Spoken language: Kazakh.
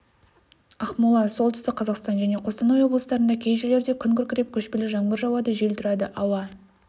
ақмола солтүстік қазақстан және қостанай облыстарында кей жерлерде күн күркіреп көшпелі жаңбыр жауады жел тұрады ауа